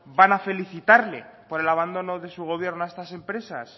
van a felicitarle por el abandono de su gobierno a estas empresas